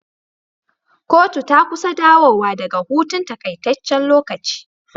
Kotu ta kusa dawo wa daka hutun takaitaccen lokaci